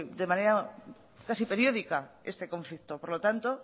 de manera casi periódica este conflicto por lo tanto